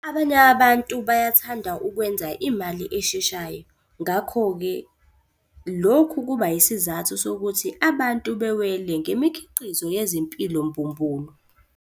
Abanye abantu bayathanda ukwenza imali esheshayo. Ngakho-ke lokhu kuba isizathu sokuthi abantu bewele ngemikhiqizo yezimpilo mbumbulu.